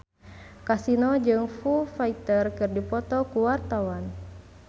Kasino jeung Foo Fighter keur dipoto ku wartawan